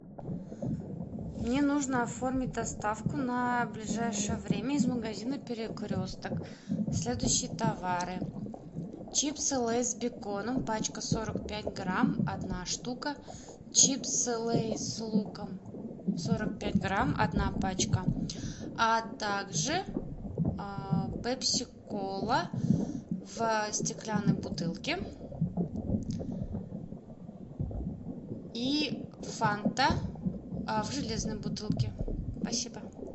мне нужно оформить доставку на ближайшее время из магазина перекресток следующие товары чипсы лейс с беконом пачка сорок пять грамм одна штука чипсы лейс с луком сорок пять грамм одна пачка а также пепси кола в стеклянной бутылке и фанта в железной бутылке спасибо